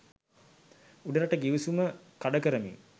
උඩරට ගිවිසුම කඩ කරමින්